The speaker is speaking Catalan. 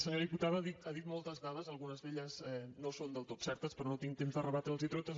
senyora diputada ha dit moltes dades algunes d’elles no són del tot certes però no tinc temps de rebatre les hi totes